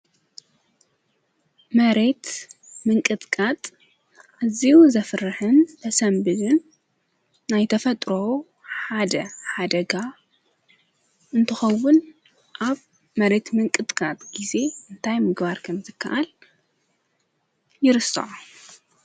መሬት ምንቅጥኣብ እዚዩ ዘፍርኅን በሰንብድን ናይ ተፈጥሮ ሓደ ሓደጋ እንተኸውን፤ ኣብ መሬት ምንቅጥቃጥ ጊዜ እንታይ ምግባር ከም ዘከኣል ይርስዖ።